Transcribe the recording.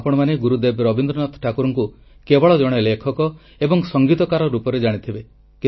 ଆପଣମାନେ ଗୁରୁଦେବ ରବୀନ୍ଦ୍ରନାଥ ଠାକୁରଙ୍କୁ କେବଳ ଜଣେ ଲେଖକ ଏବଂ ସଙ୍ଗୀତକାର ରୂପରେ ଜାଣିଥିବେ